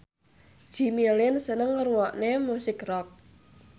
Jimmy Lin seneng ngrungokne musik rock